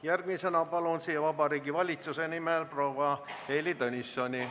Järgmisena palun siia Vabariigi Valitsuse nimel proua Heili Tõnissoni.